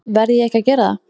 Verð ég ekki að gera það?